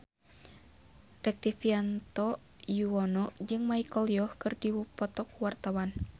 Rektivianto Yoewono jeung Michelle Yeoh keur dipoto ku wartawan